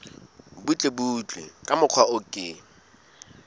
butlebutle ka mokgwa o ke